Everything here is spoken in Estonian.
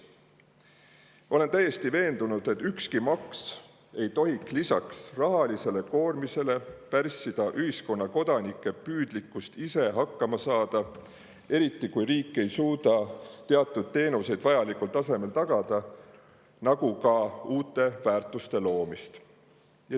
Ma olen täiesti veendunud, et ükski maks ei tohi lisaks sellele, et ta rahalise koormise, pärssida ühiskonna kodanike püüdlikkust ise hakkama saada – eriti, kui riik ei suuda teatud teenuseid vajalikul tasemel tagada –, nagu ka uute väärtuste loomist.